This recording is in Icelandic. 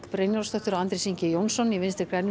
Brynjólfsdóttir og Andrés Ingi Jónsson í Vinstri græn